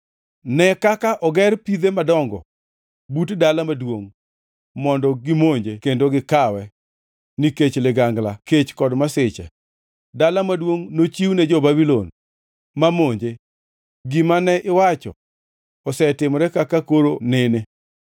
“Ne kaka oger pidhe madongo but dala maduongʼ mondo gimonje kendo gikawe. Nikech ligangla, kech kod masiche, dala maduongʼ nochiwne jo-Babulon ma monje. Gima ne iwacho osetimore kaka koro inene.